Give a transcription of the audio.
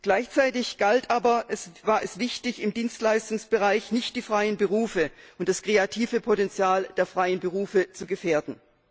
Gleichzeitig war es aber wichtig, im Dienstleistungsbereich nicht die freien Berufe und das kreative Potenzial der freien Berufe zu gefährden.